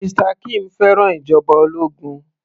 Mr kim fẹ́ràn ìjọba ológun